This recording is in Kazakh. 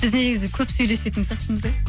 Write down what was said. біз негізі көп сөйлесетін сияқтымыз иә